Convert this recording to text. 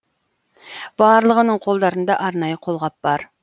барлығының қолдарында арнайы қолғап бар